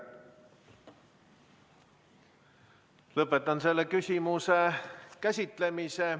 Lõpetan selle küsimuse käsitlemise.